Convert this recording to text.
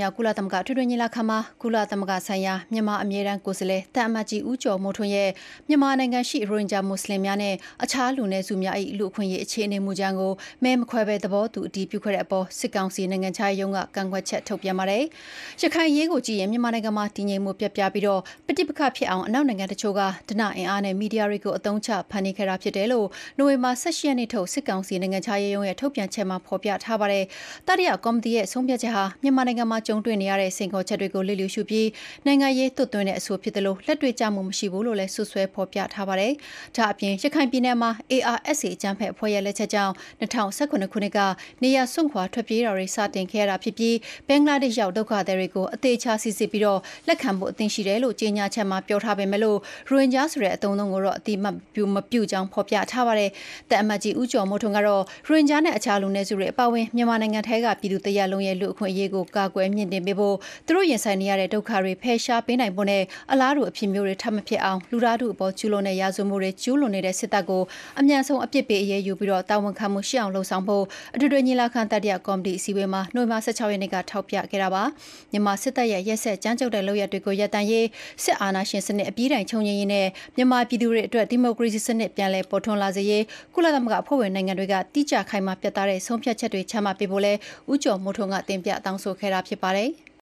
မြောက် ကုလသမဂ္ဂ အထွေထွေညီလာခံမှာ ကုလသမဂ္ဂဆိုင်ရာ မြန်မာအမြဲတမ်း ကိုယ်စားလှယ် သံအမတ်ကြီး ဦးကျော်မိုးထွန်းရဲ့ “မြန်မာနိုင်ငံရှိ ရိုဟင်ဂျာ မွတ်ဆလင်များနှင့် အခြားလူနည်းစုများ၏ လူ့အခွင့်အရေးအခြေအနေ”မူကြမ်းကို မဲမခွဲပဲ သဘောတူ အတည်ပြုခဲ့တဲ့အပေါ် စစ်ကောင်စီနိုင်ငံခြားရေးရုံးက ကန့်ကွက်ချက်ထုတ်ပြန်ပါတယ်။ ရခိုင်အရေးကိုကြည့်ရင် မြန်မာနိုင်ငံမှာ တည်ငြိမ်မှု ပျက်ပြားပြီး ပဋိပက္ခဖြစ်အောင် အနောက်နိုင်ငံတချို့က ဓနအင်အားနဲ့ မီဒီယာတွေကို အသုံးချ ဖန်တီးခဲ့တာဖြစ်တယ်လို့ နိုဝင်ဘာ ၁၈ ရက်နေ့ထုတ် စစ်ကောင်စီနိုင်ငံခြားရေးရုံးရဲ့ ထုတ်ပြန်ချက်မှာဖော်ပြပါတယ်။ တတိယကော်မတီရဲ့ဆုံးဖြတ်ချက်ဟာ မြန်မာနိုင်ငံမှာ ကြုံတွေ့နေရတဲ့ စိန်ခေါ်ချက်တွေကို လျစ်လ ျှူရှုပြီး နိုင်ငံရေး သွတ်သွင်းတဲ့ အဆိုဖြစ်သလို လက်တွေ့ကျမှုမရှိဘူးလို့လည်း စွပ်စွဲဖော်ပြထားပါတယ်။ ဒါ့အပြင် ရခိုင်ပြည်နယ်မှာ ARSA အကြမ်းဖက်အဖွဲ့ရဲ့လက်ချက်ကြောင့် ၂၀၁၇ ခုနှစ်က နေရပ်စွန့်ခွါထွက်ပြေးတာတွေ စတင်ခဲ့ရတာဖြစ်သလို ဘင်္ဂလားဒေ့ရှ် ရောက် ဒုက္ခသည်တွေကို အသေအချာ စီစစ်ပြီး လက်ခံဖို့ အသင့်ရှိတယ်လို့ ကြေညာချက်မှာ ပြောထားပေမယ့် ရိုဟင်ဂျာဆိုတဲ့ အသုံးအနှုန်းကို အသိအမှတ်မပြုကြောင်း ဖော်ပြထားပါတယ်။ သံအမတ်ကြီး ဦးကျော်မိုးထွန်း ကတော့ ရိုဟင်ဂျာ နဲ့ အခြား လူနည်းစုတွေ အပါအဝင် မြန်မာနိုင်ငံရှိ ပြည်သူတစ်ရပ်လုံးရဲ့ လူ့အခွင့်အရေးကို ကာကွယ်မြှင့်တင်ပေးဖို့၊ သူတို့ရင်ဆိုင်နေရတဲ့ ဒုက္ခတွေ ဖယ်ရှားပေးနိုင်ဖို့နဲ့ အလားတူ အဖြစ်မျိုး ထပ်မဖြစ်အောင် လူသားထုအပေါ်ကျူးလွန်သည့် ရာဇဝတ်မှုအား ကျူးလွန်နေသည့် စစ်တပ်ကို အမြန်ဆုံးအပြစ်ပေးအရေးယူပြီး တာဝန်ခံမှုရှိအောင်လုပ်ဆောင်ဖို့ အထွေထွေညီလာခံ၊ တတိယကော်မတီအစည်းအဝေးမှာ နိုဝင်ဘာ (၁၆)ရက်နေ့က ထောက်ပြခဲ့တာပါ။ မြန်မာ စစ်တပ်ရဲ့ ရက်စက်ကြမ်းကြုတ်တဲ့လုပ်ရပ်တွေရပ်တန့်ရေး၊ စစ်အာဏာရှင်စနစ် အပြီးတိုင် ချုပ်ငြိမ်းရေးနဲ့ မြန်မာပြည်သူများအတွက် ဒီမိုကရေစီစနစ် ပြန်လည်ပေါ်ထွန်းလာစေရေး ကုလသမဂ္ဂအဖွဲ့ဝင်နိုင်ငံတွေက တိကျခိုင်မာပြတ်သားသည့် ဆုံးဖြတ်ချက်များ ချမှတ်ပေးဖို့လည်း ဦးကျော်မိုးထွန်းက တင်ပြတောင်းဆိုခဲ့တာဖြစ်ပါတယ်။